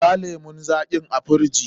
Sa lemun zaƙin a firiji!